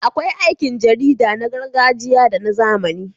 Akwai aikin jarida na gargajiya da na zamani.